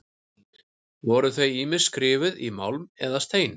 Voru þau ýmist skrifuð í málm eða stein.